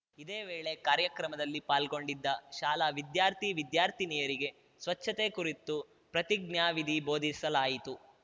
ಇದೇ ವೇಳೆ ಕಾರ್ಯಕ್ರಮದಲ್ಲಿ ಪಾಲ್ಗೊಂಡಿದ್ದ ಶಾಲಾ ವಿದ್ಯಾರ್ಥಿ ವಿದ್ಯಾರ್ಥಿನಿಯರಿಗೆ ಸ್ವಚ್ಛತೆ ಕುರಿತು ಪ್ರತಿಜ್ಞಾವಿಧಿ ಬೋಧಿಸಲಾಯಿತು